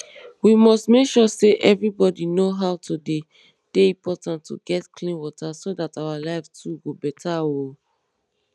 we must make sure say everybodi know how e dey dey important to get clean water so dat our life too go beta oooo